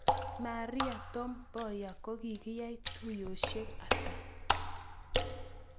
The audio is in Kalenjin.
Maria Tom Mboya kogiyai tuyosiek ata